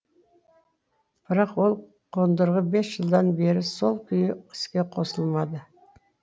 бірақ ол қондырғы бес жылдан бері сол күйі іске қосылмады